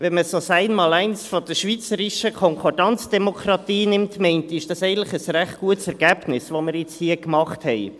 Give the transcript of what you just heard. Wenn man das Einmaleins der schweizerischen Konkordanzdemokratie nimmt, meine ich, ist dies eigentlich ein recht gutes Ergebnis, das wir nun hier gemacht haben.